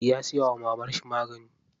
Ya siya wa mamarshi magani.